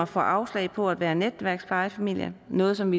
får afslag på at være netværksplejefamilie noget som